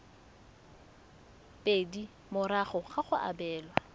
pedi morago ga go abelwa